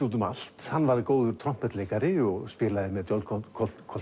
út um allt hann var góður trompetleikari spilaði með John